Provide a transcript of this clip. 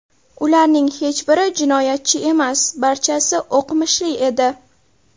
Ularning hech biri jinoyatchi emas, barchasi o‘qimishli edi.